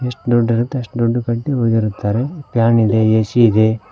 ಎಷ್ಟು ದುಡ್ಡ ಇರುತ್ತೋ ಅಷ್ಟು ದೊಡ್ಡ ಪಟ್ಟಿ ಹೊಡೆದಿರುತ್ತಾರೆ ಫ್ಯಾನ್ ಇದೆ ಎ_ಸಿ ಇದೆ.